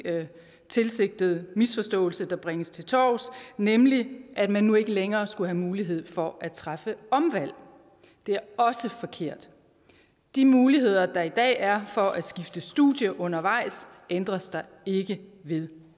tilsigtet misforståelse der bringes til torvs nemlig at man nu ikke længere skulle have mulighed for at træffe omvalg det er også forkert de muligheder der er i dag er for at skifte studie undervejs ændres der ikke ved